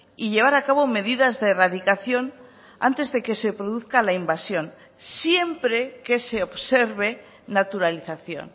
y llevar acabo medidas de erradicación antes de que se produzca la invasión siempre que se observe naturalización